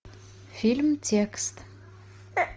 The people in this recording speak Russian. фильм текст